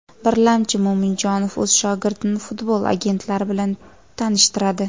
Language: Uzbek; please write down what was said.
Birlamchi, Mo‘minjonov o‘z shogirdini futbol agentlari bilan tanishtiradi.